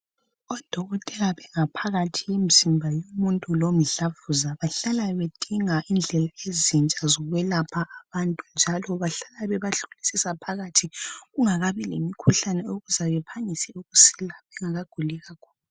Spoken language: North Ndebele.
Odokotela bangaphakathi yomzimba yomuntu lomdlavuza bahlala bedinga indlela ezintsha zokwelapha abantu njalo bahlala bebahlolisisa phakathi kungakabi lomkhuhlane ukuze bephangise ukusila bengakaguli kakhulu.